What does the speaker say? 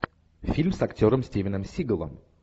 фильм с актером стивеном сигалом